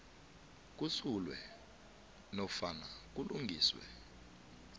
kusulwe nofana kulungiswe